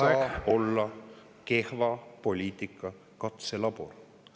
Eesti ei saa olla kehva poliitika katselabor.